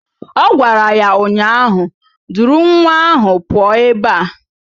Ọ gwara ya ụnyaahụ "Duru nwa ahụ pụọ ebe a"!